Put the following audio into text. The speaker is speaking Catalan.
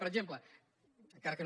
per exemple encara que no